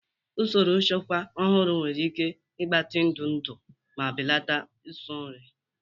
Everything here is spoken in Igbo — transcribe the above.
Usoro nchekwa ọhụrụ nwere ike ịgbatị ndụ ndụ ma belata nsị nri.